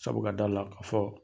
Sabu ka da la ka fɔ